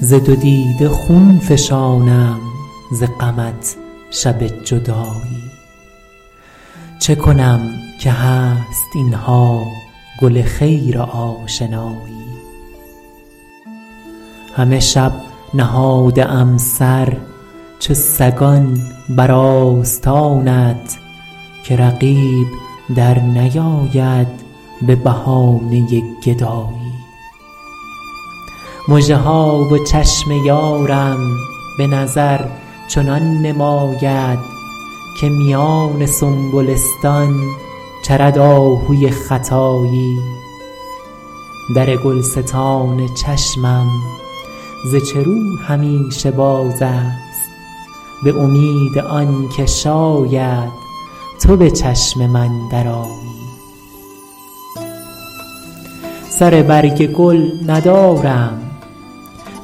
ز دو دیده خون فشانم ز غمت شب جدایی چه کنم که هست اینها گل خیر آشنایی همه شب نهاده ام سر چو سگان بر آستانت که رقیب در نیاید به بهانه گدایی مژه ها و چشم یارم به نظر چنان نماید که میان سنبلستان چرد آهوی ختایی در گلستان چشمم ز چه رو همیشه باز است به امید آنکه شاید تو به چشم من درآیی سر برگ گل ندارم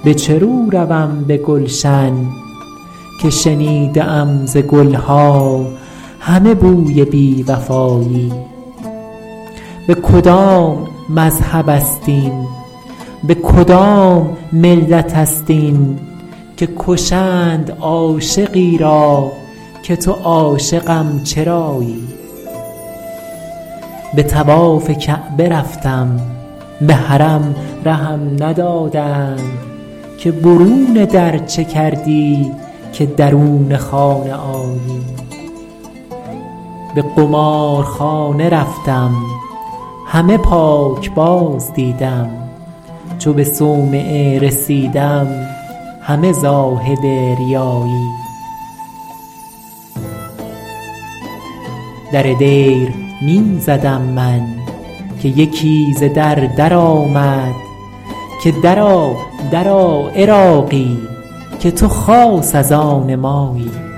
به چه رو روم به گلشن که شنیده ام ز گلها همه بوی بی وفایی به کدام مذهب است این به کدام ملت است این که کشند عاشقی را که تو عاشقم چرایی به طواف کعبه رفتم به حرم رهم ندادند که برون در چه کردی که درون خانه آیی به قمارخانه رفتم همه پاکباز دیدم چو به صومعه رسیدم همه زاهد ریایی در دیر می زدم من که یکی ز در در آمد که درآ درآ عراقی که تو خاص از آن مایی